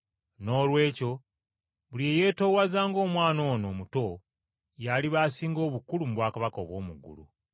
Noolwekyo buli eyeetoowaza ng’omwana ono omuto y’aliba asinga obukulu mu bwakabaka obw’omu ggulu.